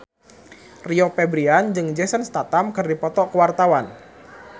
Rio Febrian jeung Jason Statham keur dipoto ku wartawan